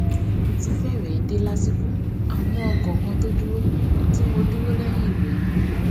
mo ti férèé dé lásìkò àmó ọkò kan tó dúró ti mo dúró léyìn re ni